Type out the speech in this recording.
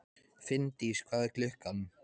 Finndís, hvað er klukkan?